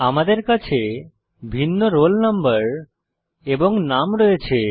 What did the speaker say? আমাদের কাছে ভিন্ন রোল নম্বর এবং নাম রয়েছে